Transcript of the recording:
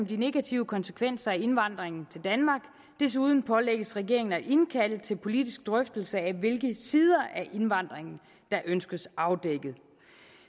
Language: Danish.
de negative konsekvenser af indvandringen til danmark desuden pålægges regeringen at indkalde til politisk drøftelse af hvilke sider af indvandringen der ønskes afdækket